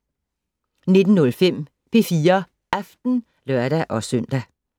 19:05: P4 Aften (lør-søn)